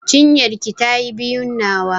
Cinyar ki ta yi biyun nawa.